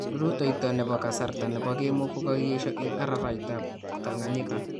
Rutoyto nebo kasartab kemoo kokakiyeshaa en araraytab Tanganyika